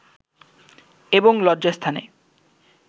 এবং লজ্জাস্থানে